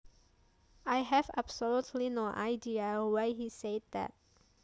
I have absolutely no idea why he said that